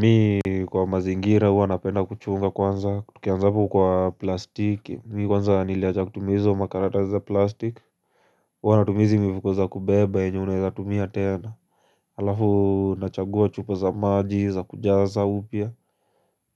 Mi kwa mazingira huwa napenda kuchunga kwanza tukianza hapo kwa plastiki Mi kwanza niliachakutumia hizo makaratasi za plastic Huwa natumia hizi mifuko za kubeba enye unaeza tumia tena Halafu nachagua chupa za maji za kujaza upya